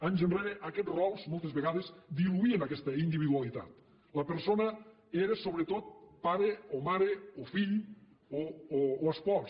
anys enrere aquests rols moltes vegades diluïen aquesta individualitat la persona era sobretot pare o mare o fill o espòs